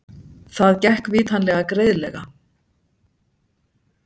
Það gekk vitanlega greiðlega.